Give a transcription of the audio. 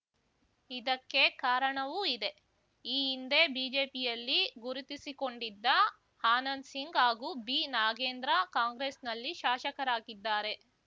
ಇದಕ್ಕೆ ಕಾರಣವೂ ಇದೆ ಈ ಹಿಂದೆ ಬಿಜೆಪಿಯಲ್ಲಿ ಗುರುತಿಸಿಕೊಂಡಿದ್ದ ಆನಂದ್ಸಿಂಗ್‌ ಹಾಗೂ ಬಿನಾಗೇಂದ್ರ ಕಾಂಗ್ರೆಸ್‌ನಲ್ಲಿ ಶಾಷಕರಾಗಿದ್ದಾರೆ